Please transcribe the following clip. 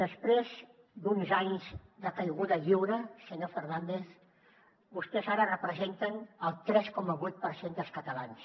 després d’uns anys de caiguda lliure senyor fernández vostès ara representen el tres coma vuit per cent dels catalans